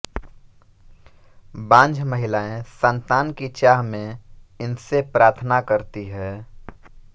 बांझ महिलाएं संतान की चाह में इनसे प्रार्थना करती हैं